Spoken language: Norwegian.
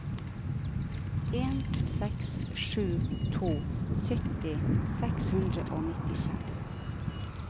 en seks sju to sytti seks hundre og nittifem